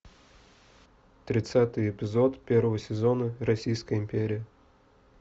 тридцатый эпизод первого сезона российская империя